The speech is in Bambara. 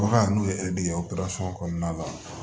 Bagan n'o ye kɔnɔna la